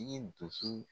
I ye dusu